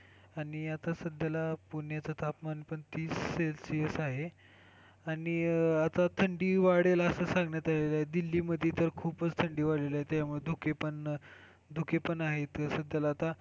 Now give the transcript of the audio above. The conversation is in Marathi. आणि आता सध्याला पुण्याचं तापमान पण तीस celsius आहे. आणि थंडी वाढेल असं सांगण्यात आलेलं आहे. दिल्लीमध्ये पण खूपच थंडी वाढलेली आहे त्यामुळे धुकेपण, धुकेपण आहे